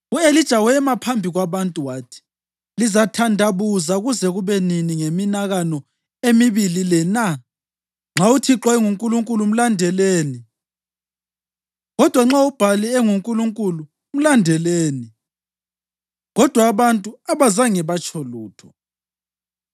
U-Elija wema phambi kwabantu wathi, “Lizathandabuza kuze kube nini ngeminakano emibili le na? Nxa uThixo enguNkulunkulu mlandeleni kodwa nxa uBhali enguNkulunkulu, mlandeleni.” Kodwa abantu abazange batsho lutho.